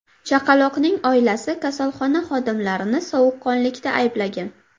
Chaqaloqning oilasi kasalxona xodimlarini sovuqqonlikda ayblagan.